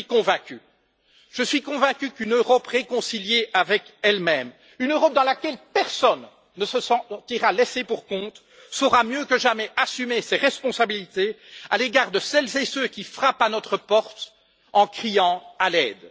Et je suis convaincu qu'une Europe réconciliée avec elle même, une Europe dans laquelle personne ne se sentira laissé pour compte saura mieux que jamais assumer ses responsabilités à l'égard de celles et ceux qui frappent à notre porte en criant à l'aide.